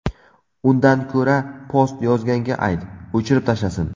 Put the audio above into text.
Undan ko‘ra post yozganga ayt, o‘chirib tashlasin”.